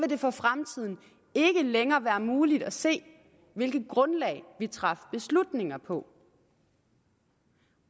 det for fremtiden ikke længere være muligt at se hvilket grundlag vi traf beslutninger på